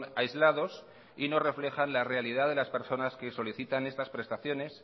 aislados y no reflejan la realidad de las personas que solicitan estas prestaciones